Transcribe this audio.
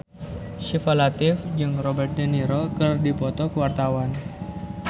Syifa Latief jeung Robert de Niro keur dipoto ku wartawan